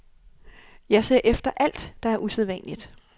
Jeg ser efter alt, der er usædvanligt.